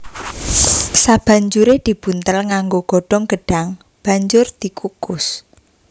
Sabanjuré dibuntel nganggo godhong gedhang banjur dikukus